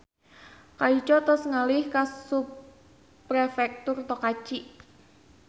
Kaico tos ngalih ka Subprefektur Tokachi